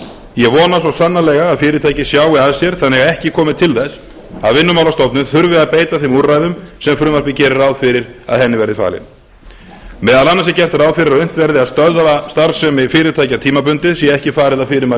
ég vona svo sannarlega að fyrirtækið sjái að sér þannig að ekki komi til þess að vinnumálastofnun þurfi að beita þeim úrræðum sem frumvarpið gerir ráð fyrir að henni verði falið meðal annars er gert ráð fyrir að unnt verði að stöðva starfsemi fyrirtækja tímabundið sé ekki farið að fyrirmælum